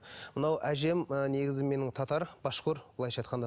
мынау әжем ы негізі менің татар башқұр былайша айтқанда